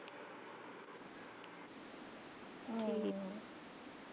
ਆ ਠੀਕ।